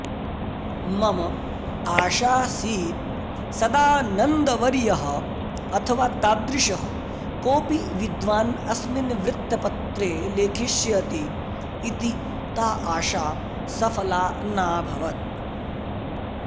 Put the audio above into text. मम आशासीत् सदानन्दवर्यः अथवा तादृशः कोऽपि विद्वान् अस्मिन् वृत्तपत्रे लेखिष्यति इति ता अशा सफला नाभवत्